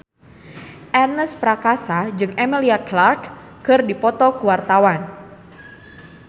Ernest Prakasa jeung Emilia Clarke keur dipoto ku wartawan